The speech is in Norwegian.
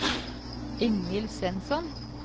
Ingvill Svensson